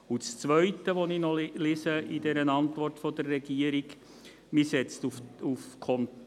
Das Zweite, das ich noch in dieser Regierungsantwort lese: